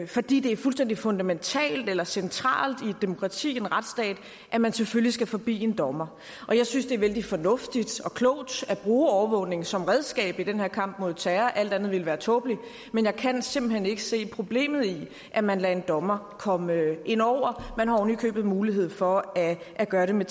fordi det er fuldstændig fundamentalt eller centralt i et demokrati en retsstat at man selvfølgelig skal forbi en dommer og jeg synes det er vældig fornuftigt og klogt at bruge overvågning som redskab i den her kamp mod terror alt andet ville være tåbeligt men jeg kan simpelt hen ikke se problemet i at man lader en dommer komme ind over man har oven i købet mulighed for at gøre det med